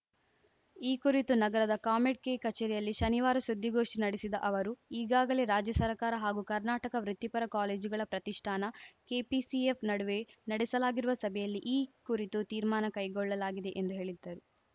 ಈ ಕುರಿತು ನಗರದ ಕಾಮೆಡ್‌ ಕೆ ಕಚೇರಿಯಲ್ಲಿ ಶನಿವಾರ ಸುದ್ದಿಗೋಷ್ಠಿ ನಡೆಸಿದ ಅವರು ಈಗಾಗಲೇ ರಾಜ್ಯ ಸರ್ಕಾರ ಹಾಗೂ ಕರ್ನಾಟಕ ವೃತ್ತಿಪರ ಕಾಲೇಜುಗಳ ಪ್ರತಿಷ್ಠಾನ ಕೆಪಿಸಿಎಫ್‌ ನಡುವೆ ನಡೆಸಲಾಗಿರುವ ಸಭೆಯಲ್ಲಿ ಈ ಕುರಿತು ತೀರ್ಮಾನ ಕೈಗೊಳ್ಳಲಾಗಿದೆ ಎಂದು ಹೇಳಿದ್ದರು